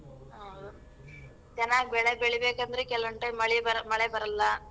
ಹೌದು. ಚೆನ್ನಾಗ್ ಬೆಳೆ ಬೆಳಿಬೇಕಂದ್ರೆ ಕೆಲ್ವೊಂದ್ time ಮಳಿ ಬರ್ ~ಮಳೆ ಬರಲ್ಲ.